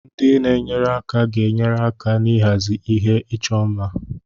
Ndị na-enyere aka ga-enyere aka n'ịhazi ihe ịchọ mma.